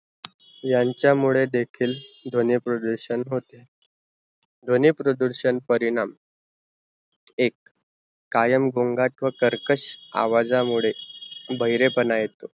यांचा मुड़े देखिल ध्वनी प्रदूरषण होते, ध्वनी प्रदूरषण परिणाम एक कायम गोंगाट व कर्कश आवाजा मुड़े बहेरे पाना येतो